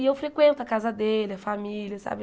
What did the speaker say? E eu frequento a casa dele, a família, sabe?